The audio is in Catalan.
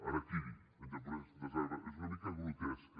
harakiri en japonès és una mica grotesca